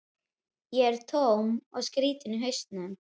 Ég er tóm og skrýtin í hausnum.